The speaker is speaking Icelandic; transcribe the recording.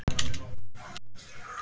Guð blessi þig og geymi.